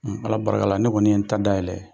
Ala barikala ne kɔni ye n ta dayɛlɛ.